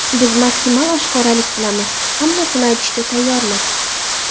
Biz maksimal oshkoralik qilamiz: hammasini aytishga tayyormiz.